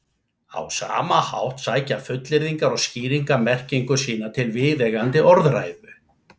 Á sama hátt sækja fullyrðingar og skýringar merkingu sína til viðeigandi orðræðu.